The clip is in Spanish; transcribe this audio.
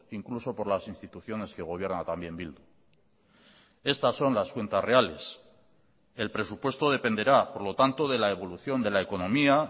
incluso por las instituciones que gobierna también bildu estas son las cuentas reales el presupuesto dependerá por lo tanto de la evolución de la economía